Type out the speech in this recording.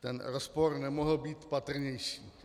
Ten rozpor nemohl být patrnější.